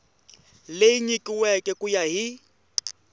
leyi nyikiweke ku ya hi